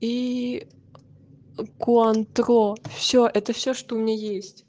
и куантро всё это всё что у меня есть